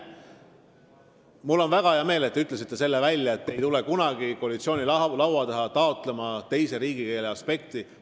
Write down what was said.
Mul on väga hea meel, et te ütlesite selle ka välja, et te ei tule kunagi koalitsiooni laua taha taotlema teise riigikeele kehtestamist.